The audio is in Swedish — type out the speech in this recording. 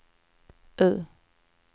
U